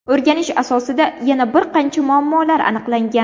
O‘rganish asosida yana bir qancha muammolar aniqlangan.